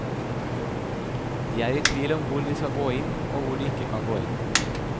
De er i tvil om hvor de skal gå inn, og hvor de ikke kan gå inn.